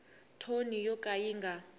thoni yo ka yi nga